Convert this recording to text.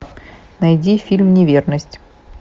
найди фильм неверность